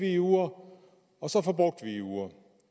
i uger og så forbrugte vi i uger